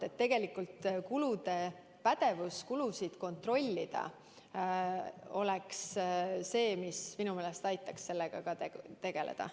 Nii et tegelikult pädevus kulusid kontrollida oleks see, mis minu meelest aitaks selle vastu võidelda.